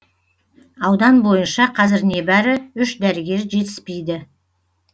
аудан бойынша қазір небәрі үш дәрігер жетіспейді